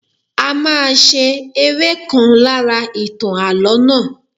A máa ṣe eré ìkan lára ìtàn Àlọ́ náà